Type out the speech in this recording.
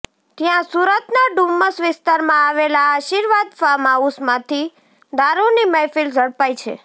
ત્યાં સુરતના ડુમ્મસ વિસ્તારમાં આવેલા આશીર્વાદ ફાર્મ હાઉસમાંથી દારૂની મહેફિલ ઝડપાઈ છે